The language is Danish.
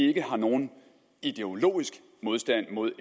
ikke har nogen ideologisk modstand mod